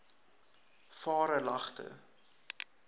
varelagte